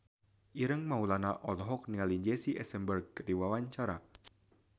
Ireng Maulana olohok ningali Jesse Eisenberg keur diwawancara